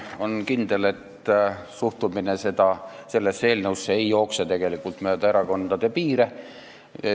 On kindel, et erinev suhtumine sellesse eelnõusse ei jookse tegelikult mööda erakondade piire.